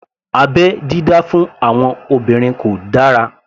Abẹ́ dídá fún àwọn obìnrin kò dára